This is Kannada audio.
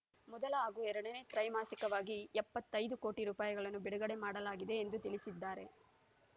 ಮೊದಲ ಹಾಗೂ ಎರಡನೇ ತ್ರೈಮಾಸಿಕವಾಗಿ ಎಪ್ಪತ್ತೈದು ಕೋಟಿ ರೂಪಾಯಿಗಳನ್ನು ಬಿಡುಗಡೆ ಮಾಡಲಾಗಿದೆ ಎಂದು ತಿಳಿಸಿದ್ದಾರೆ